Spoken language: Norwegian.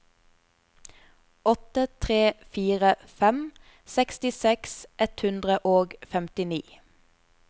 åtte tre fire fem sekstiseks ett hundre og femtini